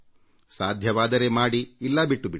ಸಾಧ್ಯವಾದರೆ ಮಾಡಿ ಇಲ್ಲ ಬಿಟ್ಟು ಬಿಡಿ